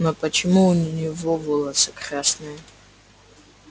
но почему у него волосы красные